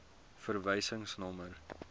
verwysingsnommer